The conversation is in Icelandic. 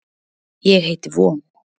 Ég heiti von.